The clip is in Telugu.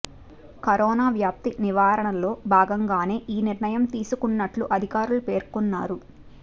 కరోనా వ్యాప్తి నివారణలో భాగంగానే ఈ నిర్ణయం తీసుకున్నట్లు అధికారులు పేర్కొన్నారు